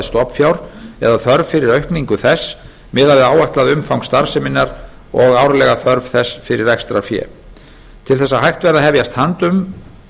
stofnfjár eða þörf fyrir aukningu þess miðað við áætlað umfang starfseminnar og árlega þörf þess fyrir rekstrarfé til þess að hægt verði að hefjast handa um